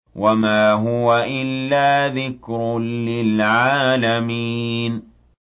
وَمَا هُوَ إِلَّا ذِكْرٌ لِّلْعَالَمِينَ